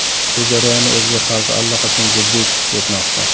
Bu jarayonni o‘zbek xalqi allaqachon jiddiy his etmoqda.